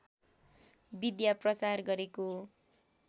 विद्या प्रचार गरेको